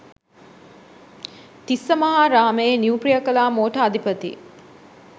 තිස්සමහාරාමයේ new Priyakala motor අධිපති